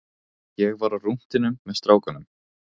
Ég var á rúntinum með strákunum.